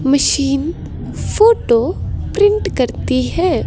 Machine photo print करती है।